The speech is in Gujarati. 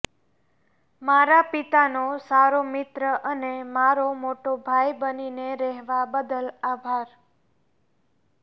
મારા પિતાનો સારો મિત્ર અને મારો મોટો ભાઈ બનીને રહેવા બદલ આભાર